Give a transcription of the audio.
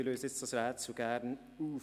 Gern löse ich jetzt das Rätsel auf.